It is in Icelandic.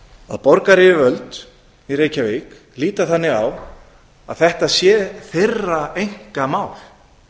að borgaryfirvöld í reykjavík líta þannig á að þetta sé þeirra einkamál